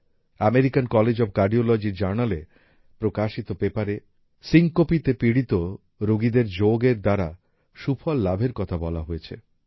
American college of cardiology র জার্নালে প্রকাশিত পেপারে সিনকোপ সিঙ্কপী তে পীড়িত রুগীদের যোগ এর দ্বারা সুফল লাভের কথা বলা হয়েছে